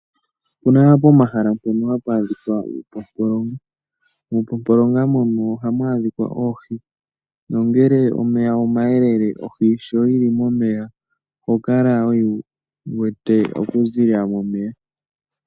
Opuna pomahala mpono hapu adhika uupompolonga, muupompolonga mono ohamu adhika oohi nongele omeya omayelele ohi sho yili momeya oho kala wuyi wete oku zilila momeya.